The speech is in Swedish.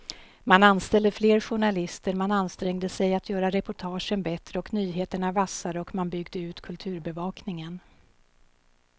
Man anställde fler journalister, man ansträngde sig att göra reportagen bättre och nyheterna vassare och man byggde ut kulturbevakningen.